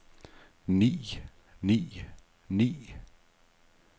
ni ni ni